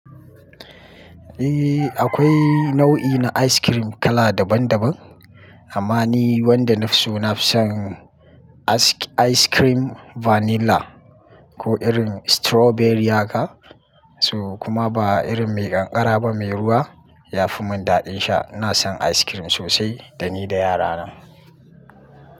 Eh, akwai nau'i na ice cream kala daban daban, amma ni wanda nafi so nafi son ice cream vanilla ko irin strawberry ha ka, to kuma ba irin mai ƙanƙara ba mai ruwa ya fi mun daɗin sha. Ina son ice cream sosai da ni da yara na.